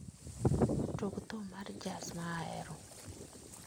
Tug thum mar jazz ma ahero